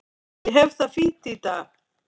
Ég hef það fínt í dag.